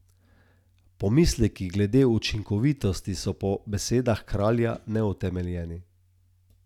Pomisleki glede učinkovitosti so po besedah Kralja neutemeljeni.